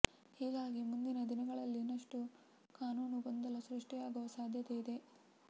ಹೀಗಾಗಿ ಮುಂದಿನ ದಿನಗಳಲ್ಲಿ ಇನ್ನಷ್ಟು ಕಾನೂನು ಗೊಂದಲ ಸೃಷ್ಟಿಯಾಗುವ ಸಾಧ್ಯತೆ ಇದೆ